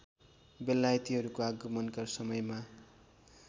बेलायतीहरूको आगमनका समयमा